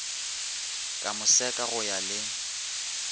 ka moseka go ya le